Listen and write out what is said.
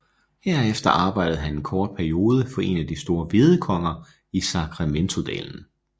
Herefter arbejdede han en kort periode for en de store hvedekonger i Sacrementodalen